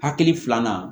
Hakili filanan